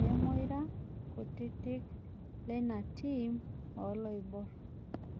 lemoira kutitik leina tim oloibor